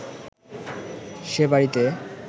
সে বাড়িতে